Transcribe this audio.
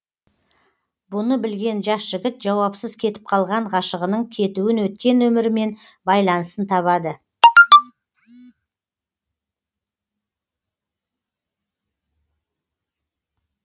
бұны білген жас жігіт жауапсыз кетіп қалған ғашығының кетуін өткен өмірімен байланысын табады